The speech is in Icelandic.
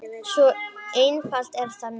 Svo einfalt er það nú.